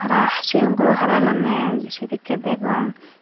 aah sigon guro hara hilonney sedekkey degong.